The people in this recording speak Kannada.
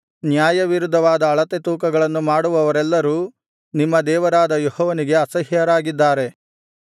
ನ್ಯಾಯವಿರುದ್ಧವಾದ ಅಳತೆತೂಕಗಳನ್ನು ಮಾಡುವವರೆಲ್ಲರೂ ನಿಮ್ಮ ದೇವರಾದ ಯೆಹೋವನಿಗೆ ಅಸಹ್ಯರಾಗಿದ್ದಾರೆ